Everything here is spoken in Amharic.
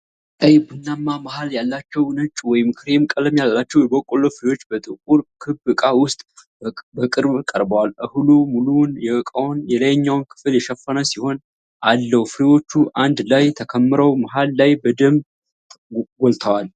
ቀይ ቡናማ መሃል ያላቸው ነጭ ወይም ክሬም ቀለም ያላቸው የበቆሎ ፍሬዎች በጥቁር ክብ ዕቃ ውስጥ በቅርብ ቀርበው ። እህሉ ሙሉውን የዕቃውን የላይኛውን ክፍል የሸፈነ ሲሆን፣ አለው። ፍሬዎቹ አንድ ላይ ተከምረው መሃል ላይ በደንብ ጎልተዋል።